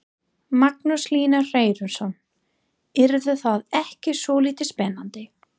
Magnús Hlynur Hreiðarsson: Yrði það ekki svolítið spennandi?